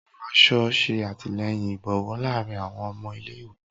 Awọn aṣọ ṣe atilẹyin ibowo laarin awọn ọmọ ile-iwe.